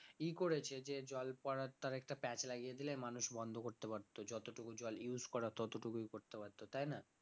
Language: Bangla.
ই করেছে যে জল পড়ার তো আরেকটা প্যাঁচ লাগিয়ে দিলে মানুষ বন্ধ করতে পারত যতটুকু জল use করার ততটুকুই করতে পারত তাই না?